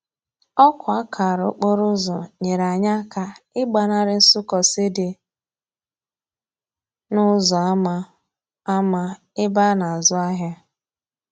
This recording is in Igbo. Òkwa akara okporoúzò nyere anyi aka igbanari nsúkósi di n'úzò ama ama ebe a na azú ahia.